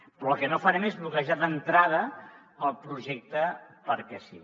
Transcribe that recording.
però el que no farem és bloquejar d’entrada el projecte perquè sí